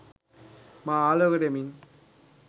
මා ආලෝකයට එමින්